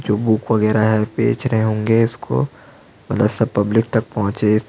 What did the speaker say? जो बुक वगैरा बेच रहै होगे इसको प्लस पब्लिक तक पहुंचे --